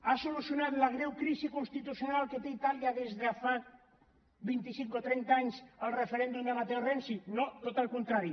ha solucionat la greu crisi constitucional que té itàlia des de fa vint i cinc o trenta anys el referèndum de matteo renzi no al contrari